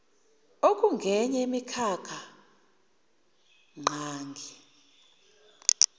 okungenye yemikhakha ngqangi